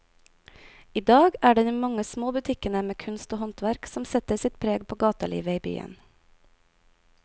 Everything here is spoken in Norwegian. I dag er det de mange små butikkene med kunst og håndverk som setter sitt preg på gatelivet i byen.